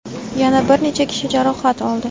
yana bir necha kishi jarohat oldi.